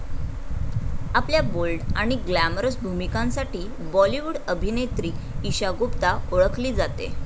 आपल्या बोल्ड आणि ग्लॅमरस भूमिकांसाठी बॉलिवूड अभिनेत्री ईशा गुप्ता ओळखली जाते.